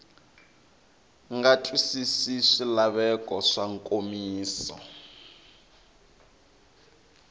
nga twisisi swilaveko swa nkomiso